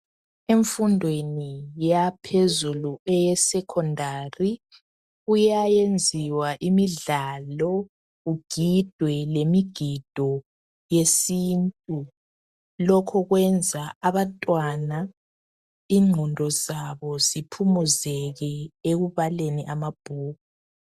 Emfundweni yaphezulu, eyesecondary. Kuyayenziwa imidlalo. Kugidwe lemigido yesintu. Lokhu kwenza abantwana, ingqondo zabo, ziphumuzeke, ekubaleni amabhuku.